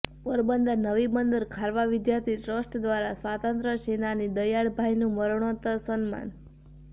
Porbandar Navibandar Kharva Vidyarthi trust દ્વારા સ્વાતંત્ર્ય સેનાની દયાળભાઇનું મરણોત્તર સન્માન